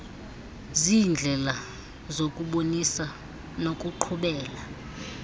ziindlela zokubonisa nokuqhubela